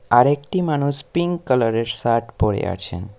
আরেকটি মানুষ pink colour -এর শার্ট পরে আছেন।